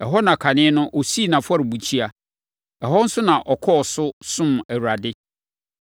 Ɛhɔ na kane no ɔsii nʼafɔrebukyia. Ɛhɔ nso na ɔkɔɔ so somm Awurade.